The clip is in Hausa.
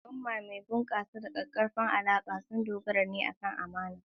Al'umma mai bunƙasa da ƙaƙƙarfan alaƙa sun dogara ne akan amana.